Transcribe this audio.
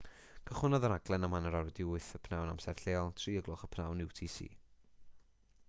cychwynnodd y rhaglen am 8:30 p.m. amser lleol 15.00 utc